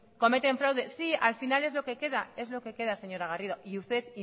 cometen fraude sí al final es lo que queda es lo que queda señora garrido y ustedes